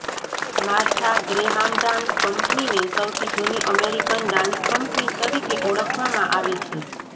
માર્થા Graham dance કંપનીને સૌથી જૂની અમેરિકન ડાન્સ કંપની તરીકે ઓળખવામાં આવે છે